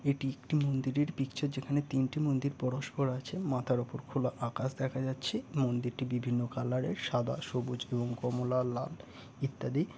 এটি একটি মন্দিরের পিকচার যেখানে তিনটি মন্দির পরস্পর আছে। মাথার ওপর খোলা আকাশ দেখা যাচ্ছে। মন্দিরটি বিভিন্ন কালার -এর সাদা সবুজ এবং কমলা লাল ইত্যাদি--